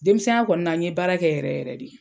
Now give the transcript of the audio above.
Denmisɛnya kɔni na n ye baara kɛ yɛrɛ yɛrɛ de.